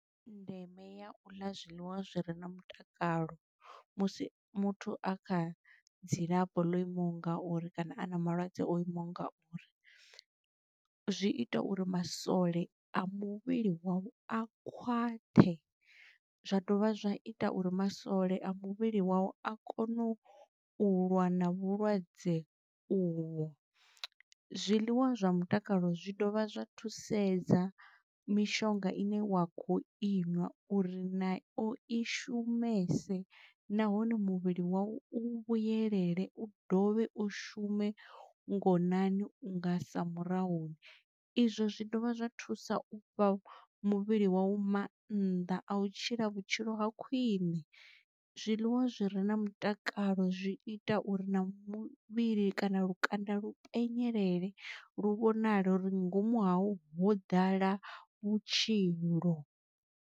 Ndeme ya u ḽa zwiḽiwa zwi re na mutakalo musi muthu a kha dzilafho lo imaho ngauri kana a na malwadze o imaho ngauri zwi ita uri masole a muvhili wau a khwaṱhe zwa dovha zwa ita uri masole a muvhili wau a kone u lwa na vhulwadze uvho. Zwiḽiwa zwa mutakalo zwi dovha zwa thusedza mishonga ine wa kho inwa uri na o i shumese nahone muvhili wa u u vhuyelela u dovhe u shume ngonani unga sa murahu. Izwo zwi dovha zwa thusa u fha muvhili wa u mannḓa a u tshila vhutshilo ha khwine. Zwiḽiwa zwi re na mutakalo zwi ita uri na muvhili kana lukanda lu penyelela lu vhonala uri nga ngomu hau ho ḓala vhutshilo.